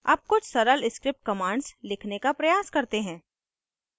अब कुछ सरल script commands लिखने का प्रयास करते हैं